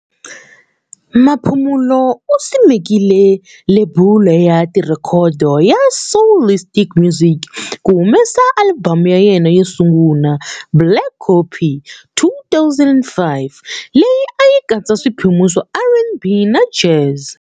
Maphumulo u simekile lebula ya tirhekhodo ya Soulistic Music ku humesa alibamu ya yena yo sungula"Black Coffee", 2005, leyi a yi katsa swiphemu swa R and B na jazz.